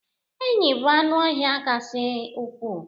enyí bụ anụ ọhịa kasị ukwuu